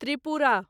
Tripura